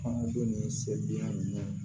An donni sɛbila nin